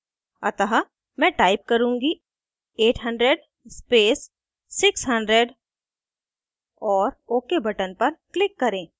अतः मैं type करुँगी 800 space 600 और ok button पर click करें